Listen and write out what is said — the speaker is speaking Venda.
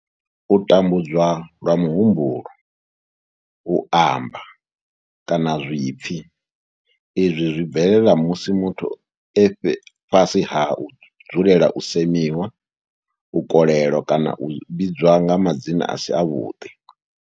U tambudzwa lwa muhumbulo, u amba, kana zwipfi izwi zwi bvelela musi muthu e fhasi ha u dzulela u semiwa, u kolelwa kana u vhidzwa nga madzina a si avhuḓi.